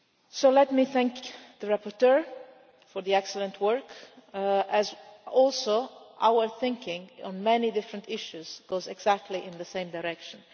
So let me thank the rapporteur for the excellent work, as our thinking on many different issues also goes exactly in the same direction.